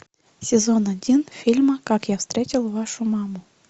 сезон один фильма как я встретил вашу маму